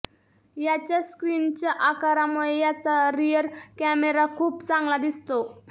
याच्या स्क्रीनच्या आकारामुळे याचा रियर कॅमेरा खूप चांगला दिसतो